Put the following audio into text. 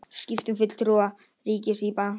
Skipt um fulltrúa ríkis í bankaráði